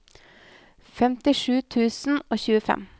femtisju tusen og tjuefem